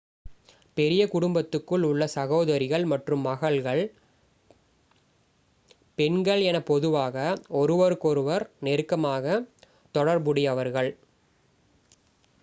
பெரிய குடும்பத்துக்குள் உள்ள சகோதரிகள் மற்றும் மகள்கள் பெண்கள் என பொதுவாக ஒருவருக்கொருவர் நெருக்கமாக தொடர்புடையவர்கள்